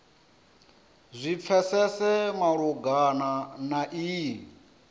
zwi pfesese malugana na iyi